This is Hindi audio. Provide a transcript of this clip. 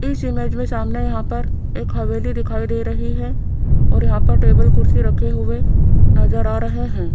इस इमेज में सामने यहां पर एक हवेली दिखाई दे रही है और यहां पर टेबल कुर्सी रखे हुए नजर आ रहे हैं।